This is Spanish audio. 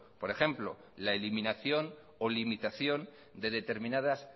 por ejemplo la eliminación o limitación de determinadas